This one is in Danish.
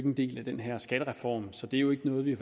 en del af den her skattereform så det er jo ikke noget vi